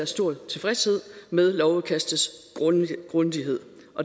stor tilfredshed med lovudkastets grundighed